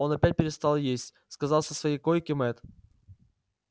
он опять перестал есть сказал со своей койки мэтт